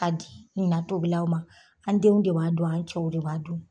Ka di na tobilaw ma, an denw de b'a dun an cɛw de b'a dun.